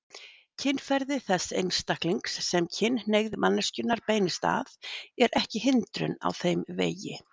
Kynferði þess einstaklings sem kynhneigð manneskjunnar beinist að er ekki hindrun á þeim vegi.